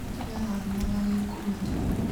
Kĩahanaga gĩkũmeria